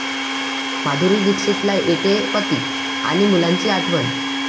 माधुरी दीक्षितला येतेय पती आणि मुलांची आठवण